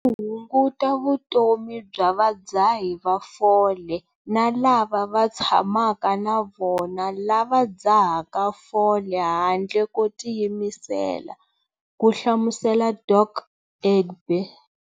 Swi hunguta vutomi bya vadzahi va fole na lava va tshamaka na vona lava va dzahaka fole handle ko tiyimisela, ku hlamusela Dok. Egbe.